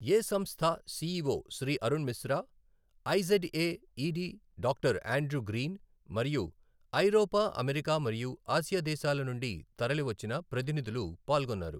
ఏ సంస్థ CEO Shri Arun Mishra, IZA ED doctor Andrew Green మరియు ఐరోపా, అమెరికా మరియు ఆసియా దేశాల నుండి తరలి వచ్చిన ప్రతినిధులు పాల్గొన్నారు.